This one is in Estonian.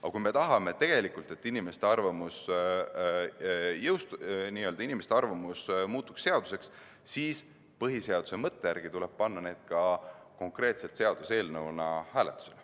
Aga kui me tegelikult tahame seda, et inimeste arvamus muutuks seaduseks, siis põhiseaduse mõtte järgi tuleb see panna seaduseelnõuna hääletusele.